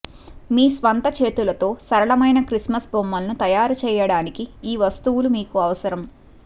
మీ స్వంత చేతులతో సరళమైన క్రిస్మస్ బొమ్మలను తయారు చేయడానికి ఈ వస్తువులు మీకు అవసరం